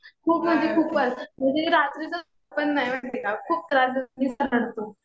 खूप म्हणजे खूपच. म्हणजे रात्रीतर झोपत पण नाही. माहितीये का खूप त्रास देतो. नुसता रडतो.